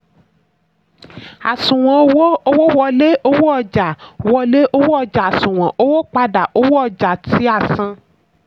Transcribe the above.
àṣùwọ̀n owó: owó wọlé owó ọjà wọlé owó ọjà àṣùwọ̀n owó padà owó ọjà tí a san.